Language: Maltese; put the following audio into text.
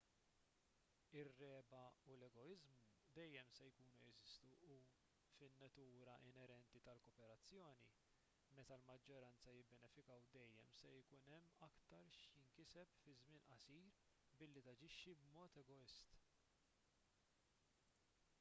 ir-regħba u l-egoiżmu dejjem se jkunu jeżistu u fin-natura inerenti tal-kooperazzjoni meta l-maġġoranza jibbenefikaw dejjem se ikun hemm aktar x'jinkiseb fi żmien qasir billi taġixxi b'mod egoist